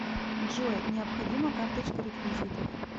джой необходима карточка реквизитов